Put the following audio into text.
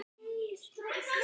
Dæsti alveg óvart.